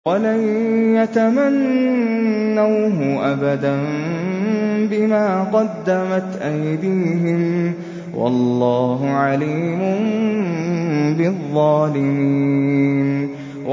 وَلَن يَتَمَنَّوْهُ أَبَدًا بِمَا قَدَّمَتْ أَيْدِيهِمْ ۗ وَاللَّهُ عَلِيمٌ بِالظَّالِمِينَ